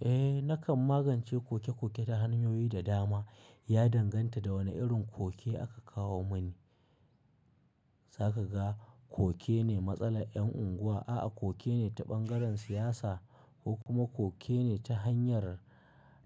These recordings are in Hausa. Eh, nakan magance koke-koke ta hanyoyi da dama. Ya danganta da wane irin koke aka kawo mani. Za ka ga koke ne matsalar 'yan unguwa, a'a koke ne ta ɓangaren siyasa ko kuma koke ne ta hanyar,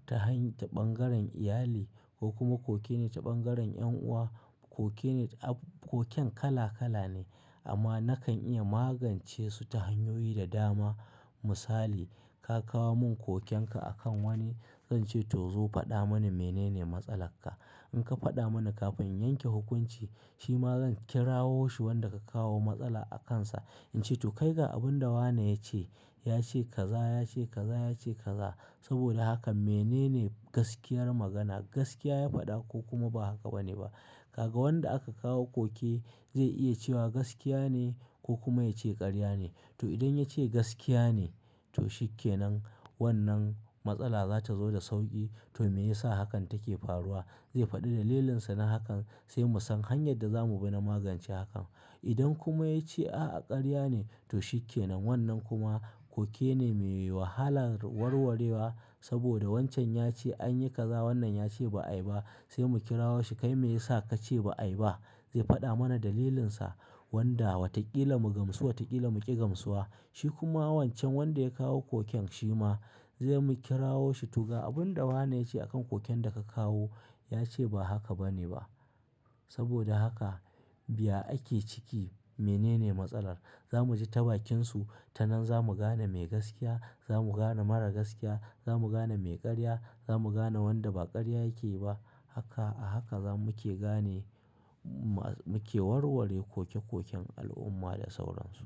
ta hany-- ta ɓangaren iyali ko kuma koke ne ta ɓangaren 'yan'uwa. Koke ne a-- koken kala-kala ne amma nakan iya magance su ta hanyoyi da dama. Misali, ka kawo mun kokenka akan wani, zan ce to zo faɗa mani mene ne matsalar ka. In ka faɗa mana kafin in yanke hukunci, shi ma zan kirawo shi wanda ka kawo matsala a kansa, in ce to kai ga abin da wane yace. Yace kaza, yace kaza, yace kaza. Saboda haka mene ne gaskiyar magana, gaskiya ya faɗa ko kuma ba haka bane ba. Kaga wanda aka kawo koke zai iya cewa gaskiya ne ko kuma ya ce ƙarya ne. To idan ya ce gaskiya ne, to shikke nan wannan matsala za ta zo da sauƙi. To me yasa hakan take faruwa? Zai faɗi dalilinsa na hakan sai mu san hanyar da zamu bi na magance hakan. Idan kuma ya ce a'a ƙarya ne, to shikke nan wannan kuma koke ne mai wahalar warwarewa saboda wancan ya ce anyi kaza, wannan ya ce ba'ayi ba. Sai mu kira wo shi, kai me yasa ka ce ba'a ba? Zai faɗa mana dalilinsa wanda watakila mu gamsu, watakila mu ƙi gamsuwa. Shi kuma wancan wanda ya kawo koken shi ma zai mu kira wo shi tuga abin da wane yace a kan koken da ka kawo. Ya ce ba haka bane ba. Saboda haka biya ake ciki mene ne matsalar. Za mu ji tabakinsu, tanan za mu gane me gaskiya, za mu gane mara gaskiya, za mu gane me ƙarya, za mu gane wanda ba ƙarya yake yi ba. Haka, a haka za mu ke gane ma-- mu ke warware koke-koken al'umma da sauransu.